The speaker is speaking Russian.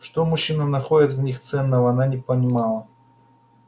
что мужчины находят в них ценного она не понимала